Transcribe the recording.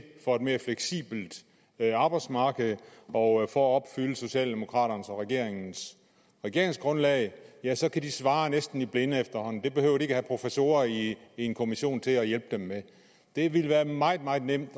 for et mere fleksibelt arbejdsmarked og for at opfylde socialdemokraternes og regeringens regeringsgrundlag ja så kan de svare næsten i blinde efterhånden det behøver de have professorer i en kommission til at hjælpe dem med det ville være meget meget nemt at